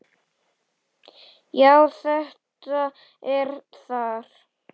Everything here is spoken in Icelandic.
Já, þetta er þar